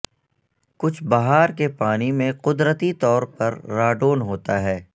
کچھ بہار کے پانی میں قدرتی طور پر راڈون ہوتا ہے